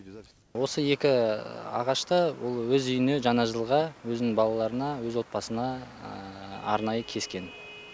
осы екі ағашты ол өз үйіне жаңа жылға өзінің балаларына өз отбасына арнайы кескен